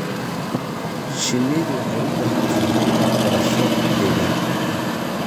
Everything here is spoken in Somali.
Shinnidu waxay u baahan tahay waxbarasho deegaan.